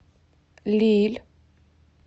лилль